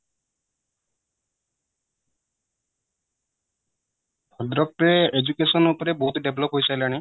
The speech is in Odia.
ଭଦ୍ରକ ରେ education ଉପରେ ବହୁତ develop କରିସାରିଲାଣି